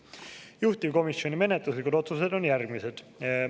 Juhtivkomisjoni menetluslikud otsused on järgmised.